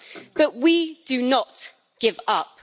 But we do not give up.